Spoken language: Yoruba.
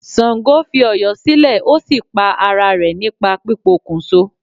Sàngó fi Ọ̀yọ́ silè o sí pa ara rẹ̀ nípa pipokùnso